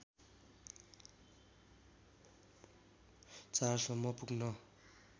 ४ सम्म पुग्न